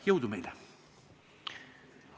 Jõudu meile!